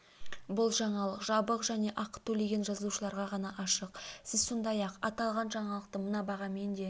бұл жаңалық жабық және ақы төлеген жазылушыларға ғана ашық сіз сондай-ақ аталған жаңалықты мына бағамен де